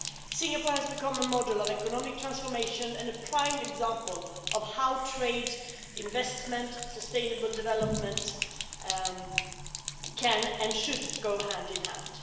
Singapore has become a model of economic transformation and a prime example of how trade, investment and sustainable development can and should go hand in hand.